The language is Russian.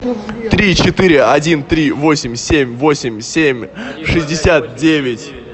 три четыре один три восемь семь восемь семь шестьдесят девять